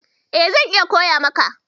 E, zan iya koya maka.